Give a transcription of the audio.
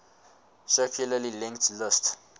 circularly linked list